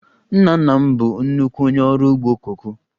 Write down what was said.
Nna nna m bụ nnukwu onye ọrụ ugbo koko